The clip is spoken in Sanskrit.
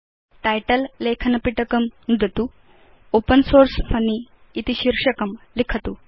टाइटल लेखनपिटकं नुदतु ओपेन सोर्स फन्नी इति शीर्षकं लिखतु